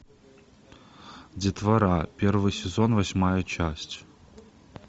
детвора первый сезон восьмая часть